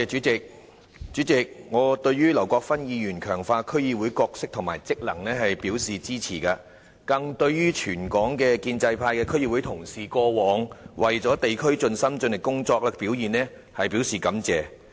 主席，我對劉國勳議員的議案提出強化區議會的角色和職能，表示支持，更對全港建制派的區議會同事過往為地區盡心盡力工作，表示感謝。